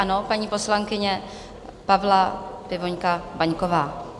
Ano, paní poslankyně Pavla Pivoňka Vaňková.